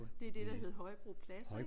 Det er det der hed Højbro Plads ik?